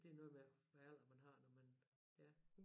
Det er noget med hvad alder man har når man ja